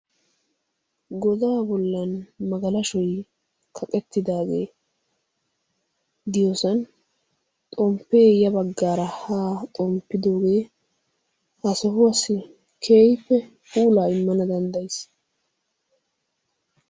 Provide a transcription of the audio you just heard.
Godaa bollan magalashoy kaqettidaagee diyoosan xomppee ya baggaara haa xomppidoogee ha sohuwaassi keehippe immana danddayiis.